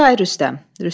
Nədir ay Rüstəm?